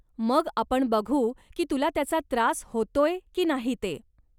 मग आपण बघू की तुला त्याचा त्रास होतोय की नाही ते.